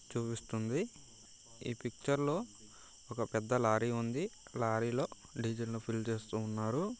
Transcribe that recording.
చూయిస్తుంది ఈ పిక్చర్ లో ఒక పెద్ద లారీ ఉంది. లారీ లో డీజిల్ ని ఫిల్ చేస్తూ ఉన్నారు.